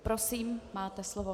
Prosím, máte slovo.